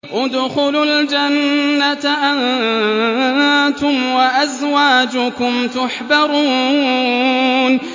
ادْخُلُوا الْجَنَّةَ أَنتُمْ وَأَزْوَاجُكُمْ تُحْبَرُونَ